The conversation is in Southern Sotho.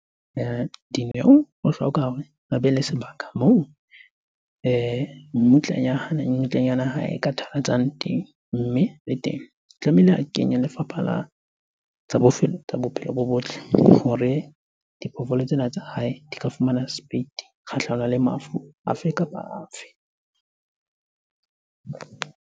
Dineo o hloka hore a be le sebaka moo mmutlanyana ya hae e ka teng. Mme le teng, tlamehile a kenye lefapha la tsa bophelo bo botle hore diphoofolo tsena tsa hae di ka fumana sepeiti kgahlanong le mafu a fe kapa a fe.